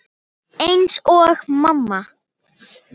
Eins og mamma.